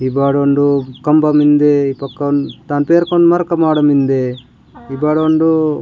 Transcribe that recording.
ई बाड उंडो कम्बा मिन्दे पकोन तन पियर कोन मर्क मड़ मिन्दे ए बा रुंडु --